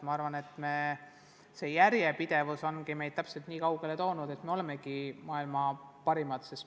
Ma arvan, et järjepidevus ongi meid nii kaugele toonud, et me olemegi maailma parimad.